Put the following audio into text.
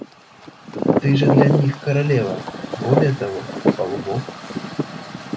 ты же для них королева более того полубог